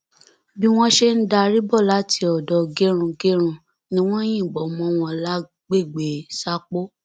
bí wọn ṣe ń darí bọ láti odò gẹrungẹrun ni wọn yìnbọn mọ wọn lágbègbè sápó